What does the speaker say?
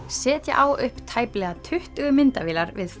setja á upp tæplega tuttugu myndavélar við